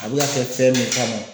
A bɛ ka kɛ fɛn min kama